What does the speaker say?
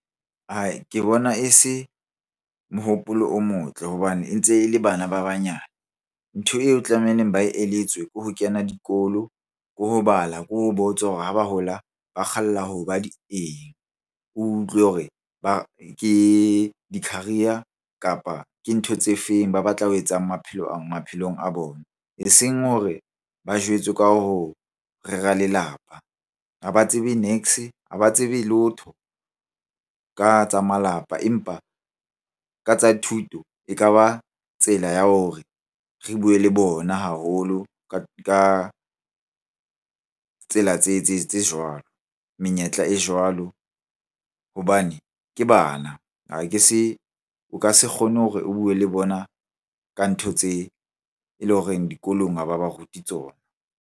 Ke bona e se mohopolo o motle hobane e ntse e le bana ba banyane. Ntho eo tlamehileng ba eletswe ko ho kena dikolo, ke ho bala, ke ho botswa hore ha ba hola ba kgalla hoba di eng? O utlwe hore ke di-career kapa ke ntho tse feng? Ba batla ho etsang maphelong a bona. Eseng hore ba jwetswe ka ho rera lelapa, ha ba tsebe niks, ha ba tsebe letho ka tsa malapa. Empa ka tsa thuto e kaba tsela ya hore re bue le bona haholo ka tsela tse tse jwalo menyetla e jwalo hobane ke bana. Ha ke se, o ka se kgone hore o bue le bona ka ntho tse e leng horeng dikolong ha ba ba rute tsona.